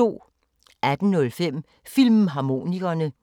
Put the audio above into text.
18:05: Filmharmonikerne